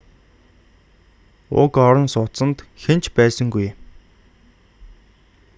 уг орон сууцанд хэн ч байсангүй